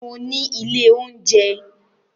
Mo ní ilé oúnjẹ